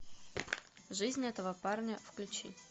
жизнь этого парня включи